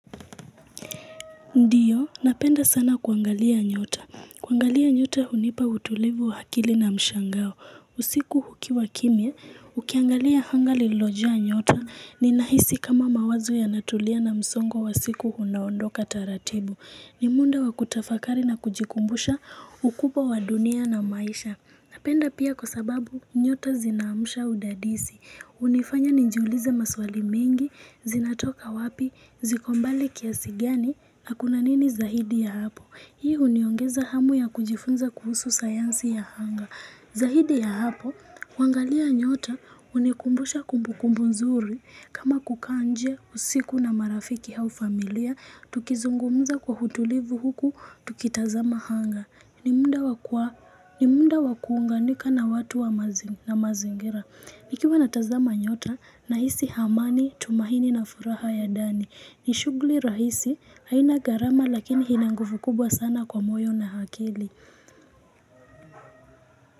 Ndiyo, napenda sana kuangalia nyota, kuangalia nyota hunipa utulivu wa akili na mshangao, usiku hukiwa kimia, ukiangalia hanga liloja nyota, ni nahisi kama mawazo ya natulia na msongo wa siku hunaondoka taratibu, ni munda wa kutafakari na kujikumbusha ukupa wa dunia na maisha. Napenda pia kwa sababu nyota zinaamusha udadisi. Hunifanya njiulize maswali mingi, zinatoka wapi, ziko mbali kiasi gani na kuna nini zaidi ya hapo. Hii uniongeza hamu ya kujifunza kuhusu sayansi ya hanga. Zaidi ya hapo, kuangalia nyota hunikumbusha kumbukumbu nzuri. Kama kukaa nje usiku na marafiki hau familia, tukizungumza kwa hutulivu huku, tukitazama hanga. Ni munda wakuunganika na watu na mazingira nikiwa natazama nyota na hisi hamani tumahini na furaha ya Dani ni shugli rahisi haina garama lakini hina nguvu kubwa sana kwa moyo na hakili.